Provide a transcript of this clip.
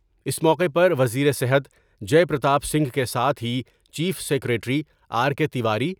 اس موقع پر وزیر صحت جے پرتاپ سنگھ کے ساتھ ہی chief secretary R K Tiwari.